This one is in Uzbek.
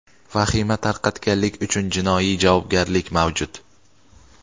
Vahima tarqatganlik uchun jinoiy javobgarlik mavjud.